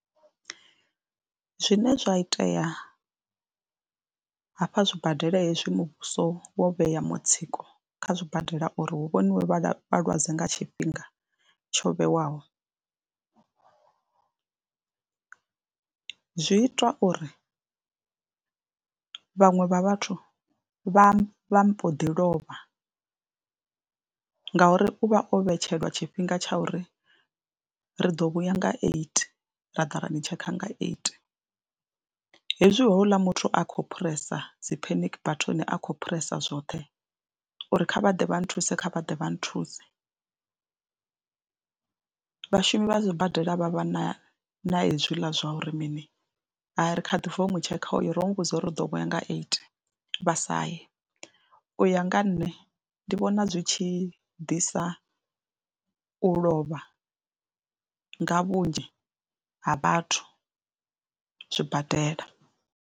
Zwine zwa itea hafha zwibadela hezwi muvhuso wo vhea mutsiko kha zwibadela uri hu vhoniwe vhalwadze nga tshifhinga tsho vhewaho. Zwi itwa uri vhaṅwe vha vhathu vha vha mbo ḓi lovha ngauri u vha o vhetshelwa tshifhinga tsha uri ri ḓo vhuya nga eight ra ḓa ra ni tshekha nga eight hezwi houḽa muthu a khou phuresa dzi panic button a khou phuresa zwoṱhe uri kha vha ḓe vha nthuse. Kha vha ḓe vha nthuse, vhashumi vha sibadela vha vha na na hezwiḽa zwa uri mini u ri mini, hai ri kha bva u tshekha uyo ro mu vhudza uri ri ḓo vhuya nga eight vha sa ye, u ya nga nṋe ndi vhona zwi tshi ḓisa u lovha nga vhunzhi ha vhathu zwibadela.